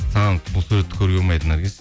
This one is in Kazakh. саған бұл суретті көруге болмайды наргиз